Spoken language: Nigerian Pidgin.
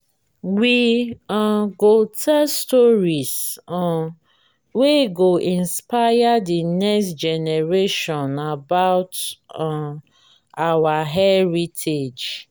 we um go tell stories um wey go inspire the next generation about um our heritage.